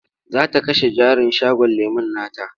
Za ta kashe jarin shagon lemon nata.